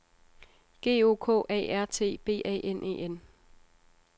G O K A R T B A N E N